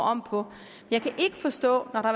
om på jeg kan ikke forstå når der